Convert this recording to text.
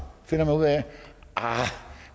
finder